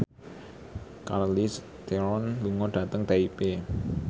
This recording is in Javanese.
Charlize Theron lunga dhateng Taipei